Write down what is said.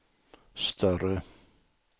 större